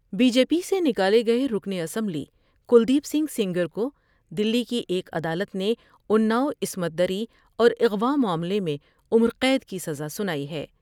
Be J P سے نکالے گئے رکن اسمبلی کلدیپ سنگھ سینگر کودلی کی ایک عدالت نے انا ؤعصمت دری اور اغواءمعاملے میں عمر قید کی سزا سنائی ہے۔